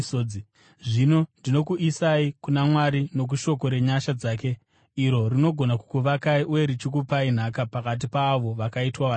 “Zvino ndinokuisai kuna Mwari nokushoko renyasha dzake, iro rinogona kukuvakai uye richikupai nhaka pakati paavo vakaitwa vatsvene.